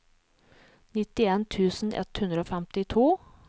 nittien tusen ett hundre og femtito